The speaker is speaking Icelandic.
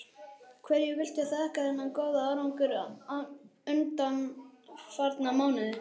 Hverju viltu þakka þennan góða árangur undanfarna mánuði?